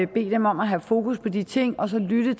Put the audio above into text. bede dem om at have fokus på de ting og lytte